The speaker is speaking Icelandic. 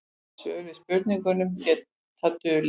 Svör við spurningum geta dulið.